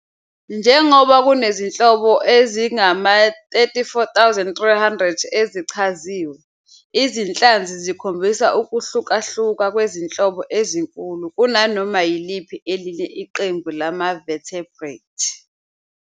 Njengoba kunezinhlobo ezingama-34,300 ezichaziwe, izinhlanzi zikhombisa ukuhlukahluka kwezinhlobo ezinkulu kunanoma yiliphi elinye iqembu lama-vertebrate.